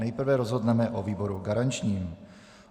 Nejprve rozhodneme o výboru garančním.